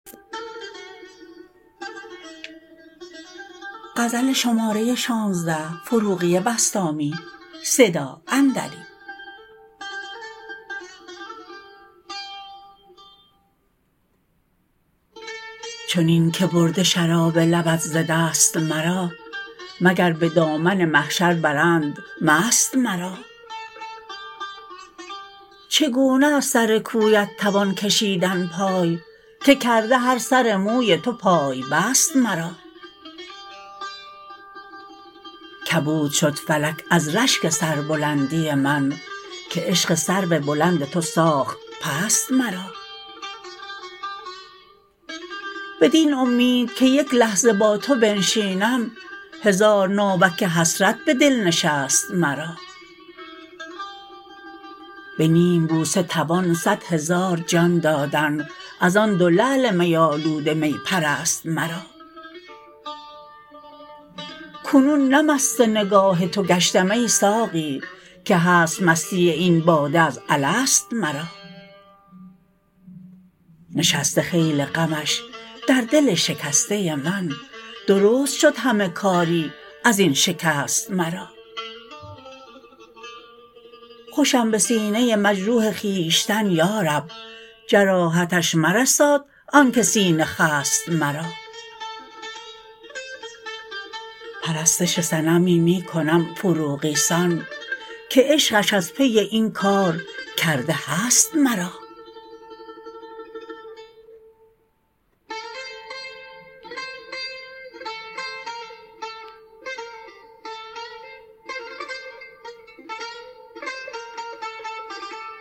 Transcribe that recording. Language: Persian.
چنین که برده شراب لبت ز دست مرا مگر به دامن محشر برند مست مرا چگونه از سرکویت توان کشیدن پای که کرده هر سر موی تو پای بست مرا کبود شد فلک از رشک سربلندی من که عشق سرو بلند تو ساخت پست مرا بدین امید که یک لحظه با تو بنشینم هزار ناوک حسرت به دل نشست مرا به نیم بوسه توان صد هزار جان دادن از آن دو لعل می آلود می پرست مرا کنون نه مست نگاه تو گشتم ای ساقی که هست مستی این باده از الست مرا نشسته خیل غمش در دل شکسته من درست شد همه کاری از این شکست مرا خوشم به سینه مجروح خویشتن یا رب جراحتش مرساد آن که سینه خست مرا پرستش صنمی می کنم فروغی سان که عشقش از پی این کار کرده هست مرا